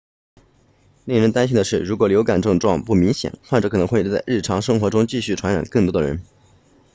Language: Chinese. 令人担心的是如果流感症状不明显患者可能会在日常生活中继续传染更多的人